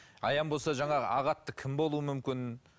аян болса жаңағы ақ атты кім болуы мүмкін